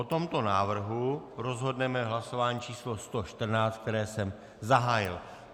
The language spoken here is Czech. O tomto návrhu rozhodneme hlasováním číslo 114, které jsem zahájil.